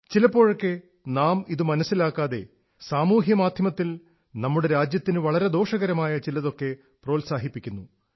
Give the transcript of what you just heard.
ചിലപ്പോഴൊക്കെ നാം ഇതു മനസ്സിലാക്കാതെ സമൂഹ്യമാധ്യമത്തിൽ നമ്മുടെ രാജ്യത്തിനു വളരെ ദോഷകരമായ ചിലതൊക്കെ പ്രോത്സാഹിപ്പിക്കുന്നു